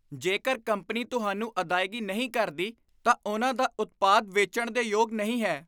ਜੇਕਰ ਕੰਪਨੀ ਤੁਹਾਨੂੰ ਅਦਾਇਗੀ ਨਹੀਂ ਕਰਦੀ, ਤਾਂ ਉਨ੍ਹਾਂ ਦਾ ਉਤਪਾਦ ਵੇਚਣ ਦੇ ਯੋਗ ਨਹੀਂ ਹੈ।